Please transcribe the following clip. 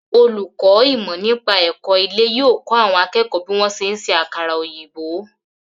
Olùkọ́ ìmọ̀-nípa-ẹ̀kọ́ ilé yóò kọ́ àwọn akẹ́kọ̀ọ́ bí wọ́n ṣe ń ṣe àkàrà-òyìbó.